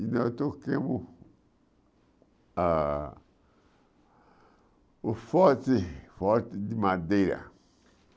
E nós troquemos a o forte forte de madeira.